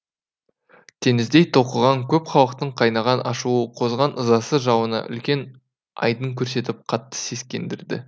теңіздей толқыған көп халықтың қайнаған ашуы қозған ызасы жауына үлкен айдын көрсетіп қатты сескендірді